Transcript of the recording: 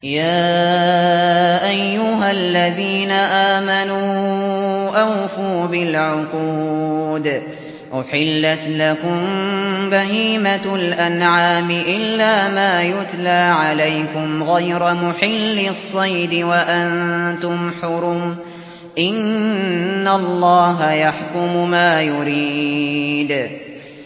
يَا أَيُّهَا الَّذِينَ آمَنُوا أَوْفُوا بِالْعُقُودِ ۚ أُحِلَّتْ لَكُم بَهِيمَةُ الْأَنْعَامِ إِلَّا مَا يُتْلَىٰ عَلَيْكُمْ غَيْرَ مُحِلِّي الصَّيْدِ وَأَنتُمْ حُرُمٌ ۗ إِنَّ اللَّهَ يَحْكُمُ مَا يُرِيدُ